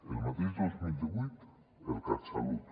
el mateix dos mil divuit el catsalut